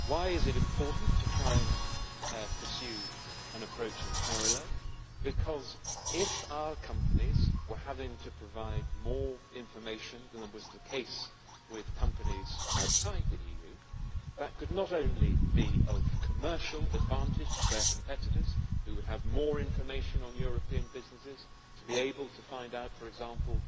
Why is it important to try and pursue an approach in parallel? Because if our companies were having to provide more information than was the case with companies outside the EU, that could not only be of commercial advantage to their competitors, who would have more information on European businesses to be able to find out, for example,